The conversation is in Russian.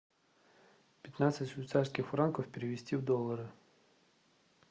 пятнадцать швейцарских франков перевести в доллары